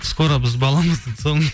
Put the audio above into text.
скоро біз баламыздың тұсауын